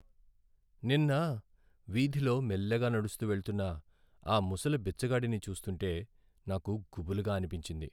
నిన్న వీధిలో మెల్లగా నడుస్తూ వెళ్తున్న ఆ ముసలి బిచ్చగాడిని చూస్తుంటే నాకు గుబులుగా అనిపించింది.